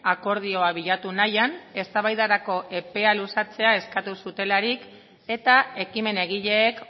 akordioa bilatu nahian eztabaidarako epea luzatzea eskatu zutelarik eta ekimen egileek